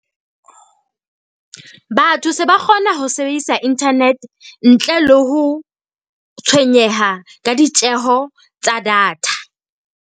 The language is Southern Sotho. Batho se ba kgona ho sebedisa internet ntle le ho tshwenyeha ka ditjeho tsa data.